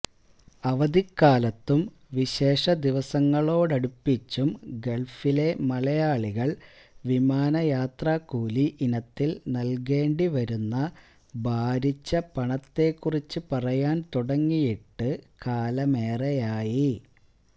അവധിക്കാലത്തും വിശേഷ ദിവസങ്ങളോടടുപ്പിച്ചും ഗള്ഫിലെ മലയാളികള് വിമാനയാത്രാക്കൂലി ഇനത്തില് നല്കേണ്ടി വരുന്ന ഭാരിച്ച പണത്തെക്കുറിച്ച് പറയാന് തുടങ്ങിയിട്ട് കാലമേറെയായി